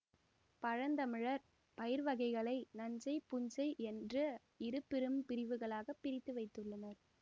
பழந்தமிழர் பயிர் வகைகளை நன்செய் புன்செய் என்ற இரு பெரும் பிரிவுகளாக பிரித்து வைத்துள்ளனர்